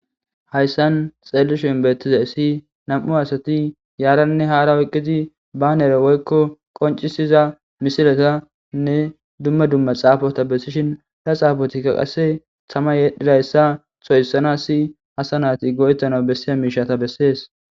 Hayssan xeelli shoinbeettiza issi nam'u asati yaaranne haara oyqqidi baanere woykko qoncisiza misiletanne dumma dumma xaafota bessishin da xaafotikka qasse thama yedhidayssa soyssana si hasanaati go7ettana bessiya miishata bessees.